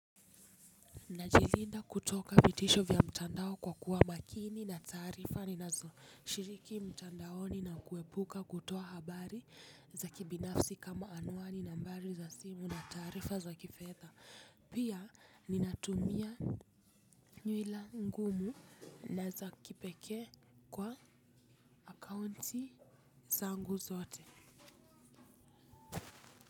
Najilinda kutoka vitisho vya mtandao kwa kuwa makini na taarifa ninazo shiriki mtandaoni nakuepuka kutoa habari za kibinafsi kama anwani, nambari za simu na tarifa za kifedha. Pia ninatumia nywela ngumu na za kipekee kwa akaunti zangu zote.